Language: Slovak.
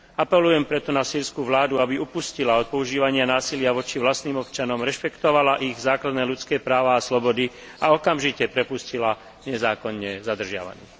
Apelujem preto na sýrsku vládu, aby upustila od používania násilia voči vlastným občanom, rešpektovala ich základné ľudské práva a slobody a okamžite prepustila nezákonne zadržiavaných.